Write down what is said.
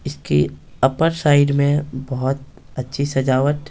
इसकी upper side में बहुत अच्छी सजावट --